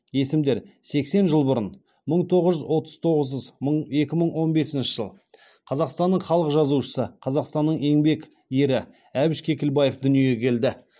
есімдер сексен жыл бұрын екі мың он бесінші жыл қазақстанның халық жазушысы қазақстанның еңбек ері әбіш кекілбаев дүниеге келді